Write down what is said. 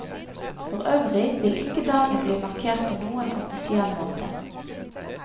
For øvrig vil ikke dagen bli markert på noen offisiell måte.